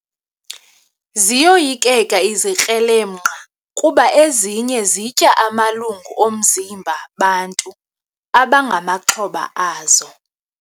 Ziyoyikeka izikrelemnqa kuba ezinye zitya amalungu omzimba bantu abangamaxhoba azo.